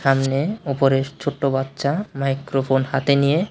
সামনে উপরে ছোট্টো বাচ্ছা মাইক্রোফোন হাতে নিয়ে--